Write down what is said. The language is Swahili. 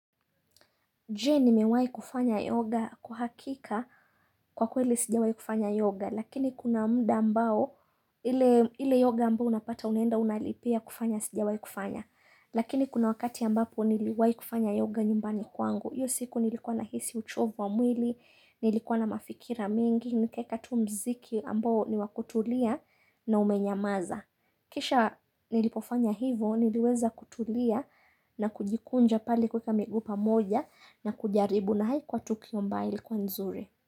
Je nimewai kufanya yoga kwa hakika kwa kweli sijawai kufanya yoga, lakini kuna mda ambao ile yoga ambao unapata unenda unalipia kufanya sijawai kufanya. Lakini kuna wakati ambapo niliwai kufanya yoga nyumbani kwangu, yo siku nilikuwa nahisi uchovu wa mwili, nilikuwa na mafikira mingi, nikeka tu mziki ambao ni wakutulia na umenyamaza. Kisha nilipofanya hivo niliweza kutulia na kujikunja pale kweka migu pamoja na kujaribu na haikuwa tukio ambaye ilkuwa nzuri.